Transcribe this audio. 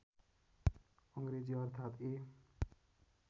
अङ्ग्रेजी अर्थात् ए